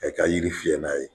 Ayi ka yiri fiyɛ n'a ye.